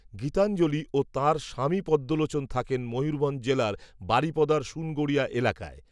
গীতাঞ্জলি ও তাঁর স্বামীপদ্মলোচন থাকেন, ময়ূরভঞ্জ জেলার, বারিপদার, সুনগড়িয়া, এলাকায়